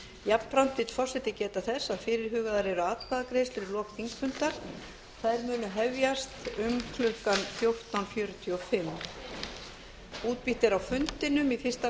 jafnframt vill forseti geta þess að fyrirhugaðar eru atkvæðagreiðslur í lok þingfundar þær munu hefjast um klukkan fjórtán fjörutíu og fimm